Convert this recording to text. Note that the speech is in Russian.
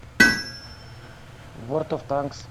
ворд оф танкс